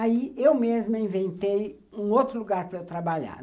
Aí eu mesma inventei um outro lugar para eu trabalhar.